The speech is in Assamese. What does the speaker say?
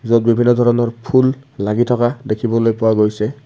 য'ত বিভিন্ন ধৰণৰ ফুল লাগি থকা দেখিবলৈ পোৱা গৈছে।